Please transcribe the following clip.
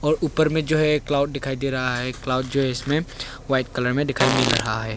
ऊपर में जो है क्लाउड दिखाई दे रहा है क्लाउड जो है इसमें वाइट कलर में दिखाई मिल रहा है।